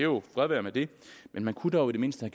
og fred være med det men man kunne dog i det mindste